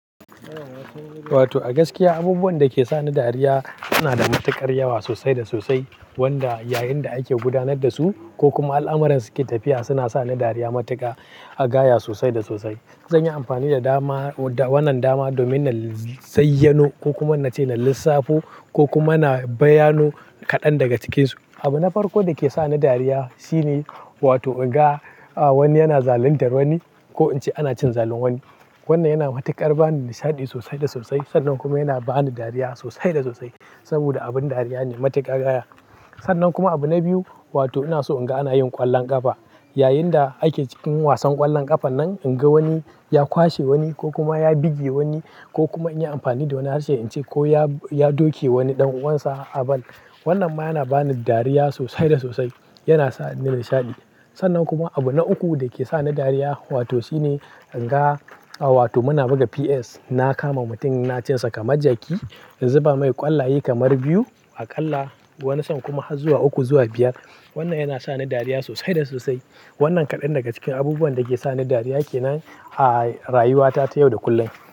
Wato a gaskiya abubuwan da ke sa ni dariya suna da matuƙar yawa sosai da sosai. Wanda yayin da ake gudanar da su ko kuma al'amuran suke tafiya suna sa ni dariya matuƙa, a gaya sosai da sosai. Zan yi amfani da dama, wannan dama domin na zayyano ko kuma na ce na lissafo ko kuma na bayano kaɗan daga cikinsu. Abu na farko da ke sa ni dariya shine, wato in ga wani yana zaluntar wani ko in ce ana cin zalin wani. Wannan yana matuƙar bani nishaɗi sosai da sosai. Sannan kuma yana bani dariya sosai da sosai. Saboda abin dariya ne matuƙa gaya. Sannan kuma abu na biyu, wato ina so in ga ana yin ƙwallon ƙafa. Yayin da ake cikin wasan ƙwallon ƙafan nan, in ga wani ya kwashe wani ko kuma ya buge wani ko kuma in yi amfani da wani harshe in ce ko ya, ya doke wani ɗan uwansa a ball. Wannan ma yana bani dariya sosai da sosai. Yana sa ni nishaɗi. Sannan kuma abu na uku da ke sa ni dariya wato shine in ga, wato muna buga PS. Na kama mutum na cinsa kamar jaki, in zuba mai ƙwallaye kamar biyu aƙalla. Wani san kuma har zuwa uku zuwa biyar. Wannan yana sa ni dariya sosai da sosai. Wannan kaɗan daga cikin abubuwan da ke sa ni dariya ke nan a rayuwata ta yau da kullum.